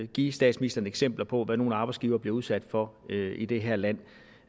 give statsministeren eksempler på hvad nogle arbejdsgivere bliver udsat for i det her land